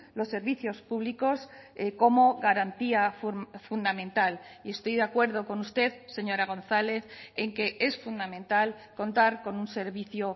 los servicios públicos como garantía fundamental y estoy de acuerdo con usted señora gonzález en que es fundamental contar con un servicio